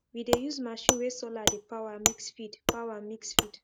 we dey use machine wey solar dey power mix feed power mix feed